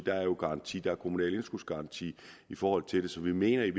der er jo garanti der er kommunal indskudsgaranti forhold til det så vi mener i